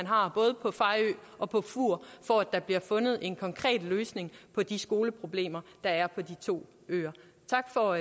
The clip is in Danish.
har både på fejø og på fur for at der bliver fundet en konkret løsning på de skoleproblemer der er på de to øer tak for